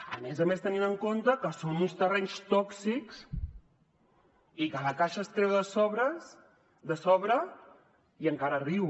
a més a més tenint en compte que són uns terrenys tòxics i que la caixa es treu de sobre i encara riu